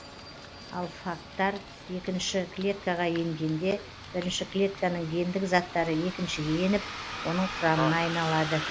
ал фагтар екінші клеткаға енгенде бірінші клетканың гендік заттары екіншіге еніп оның құрамына айналады